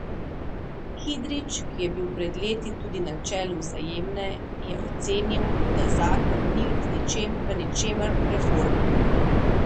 Kidrič, ki je bil pred leti tudi na čelu Vzajemne, je ocenil, da zakon ni v ničemer reformen.